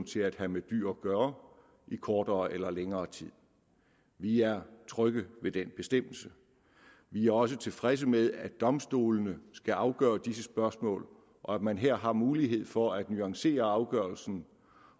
til at have med dyr at gøre i kortere eller længere tid vi er trygge ved den bestemmelse vi er også tilfredse med at domstolene skal afgøre disse spørgsmål og at man her har mulighed for at nuancere afgørelsen